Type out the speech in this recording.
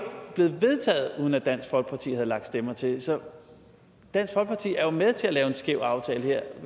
blevet vedtaget uden at dansk folkeparti havde lagt stemmer til så dansk folkeparti er jo med til at lave en skæv aftale her